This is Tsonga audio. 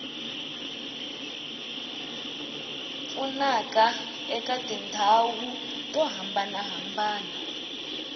pfunaka eka tindhawu to hambanahambana